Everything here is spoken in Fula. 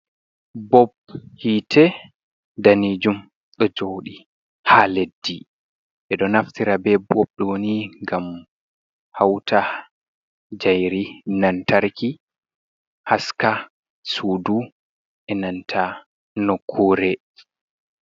Bob hiite danieum ɗo joɗi ha leddi, ɓe ɗo naftira be bob dowo ni ngam hauta jairi lantarki haska sudu e nanta nokkure.